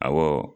Awɔ